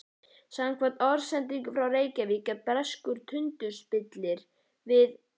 Samkvæmt orðsendingu frá Reykjavík er breskur tundurspillir við